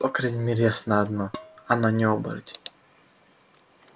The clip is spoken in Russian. по крайней мере ясно одно она не оборотень